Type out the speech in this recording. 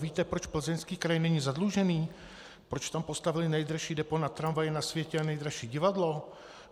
Víte, proč Plzeňský kraj není zadlužený, proč tam postavili nejdražší depo na tramvaje na světě a nejdražší divadlo?